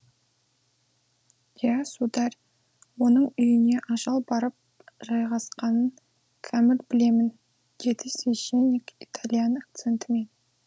иә сударь оның үйіне ажал барып жайғасқанын кәміл білемін деді священник итальян акцентімен